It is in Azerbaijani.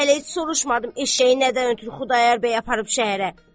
Mən hələ heç soruşmadım eşşəyi nədən ötrü Xudayar bəy aparıb şəhərə.